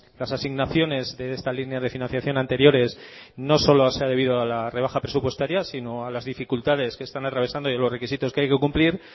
las asignaciones de esta línea de financiación anteriores no solo se ha debido a la rebaja presupuestaria sino a las dificultades que están atravesando y a los requisitos que hay que cumplir